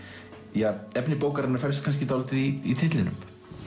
ja efni bókarinnar felst kannski dálítið í titlinum